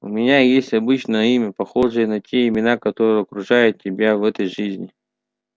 у меня есть обычное имя похожее на те имена которые окружают тебя в этой жизни